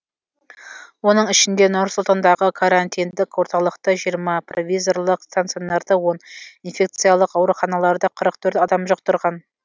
оның ішінде нұр сұлтандағы карантиндік орталықта жиырма провизорлық стационарда он инфекциялық ауруханаларда қырық төрт адам жұқтырған